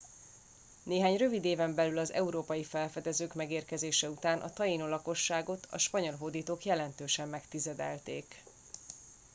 néhány rövid éven belül az európai felfedezők megérkezése után a tainó lakosságot a spanyol hódítok jelentősen megtizedelték